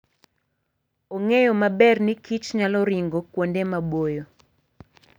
Ong'eyo maber ni kichnyalo ringo kuonde maboyo.